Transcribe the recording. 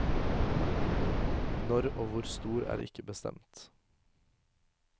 Når og hvor stor er ikke bestemt.